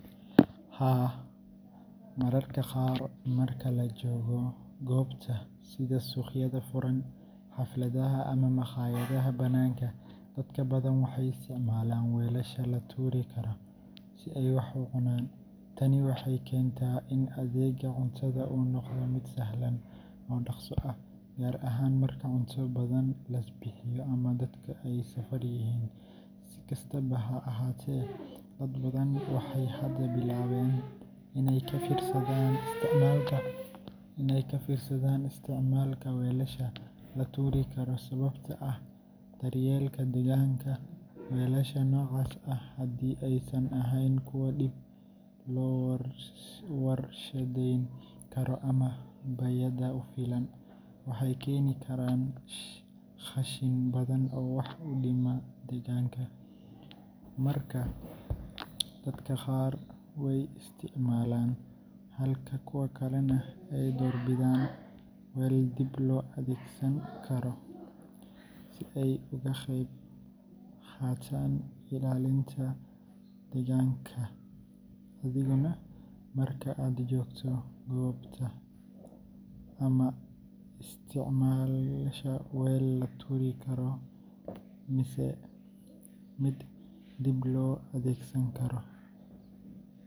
Haa, mararka qaar marka la joogo goobta sida suuqyada furan, xafladaha ama maqaayadaha banaanka, dad badan waxay isticmaalaan weelasha la tuuri karo si ay wax u cunaan. Tani waxay keentaa in adeegga cuntada uu noqdo mid sahlan oo dhaqso ah, gaar ahaan marka cunto badan la bixiyo ama dadku ay safar yihiin. Si kastaba ha ahaatee, dad badan waxay hadda bilaabeen inay ka fiirsadaan isticmaalka weelasha la tuuri karo sababo la xiriira daryeelka deegaanka. Weelasha noocaas ah, haddii aysan ahayn kuwo dib loo warshadeyn karo ama bay’ada u fiican, waxay keeni karaan qashin badan oo wax u dhima deegaanka. Markaa, dadka qaar way isticmaalaan, halka kuwa kalena ay doorbidaan weel dib loo adeegsan karo si ay uga qayb qaataan ilaalinta deegaanka. Adiguna marka aad joogto goobta, ma isticmaashaa weel la tuuri karo mise mid dib loo adeegsan karo.